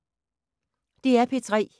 DR P3